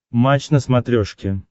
матч на смотрешке